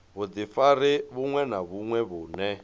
vhudifari vhuṅwe na vhuṅwe vhune